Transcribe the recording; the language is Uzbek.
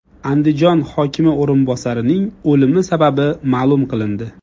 Andijon hokimi o‘rinbosarining o‘limi sababi ma’lum qilindi.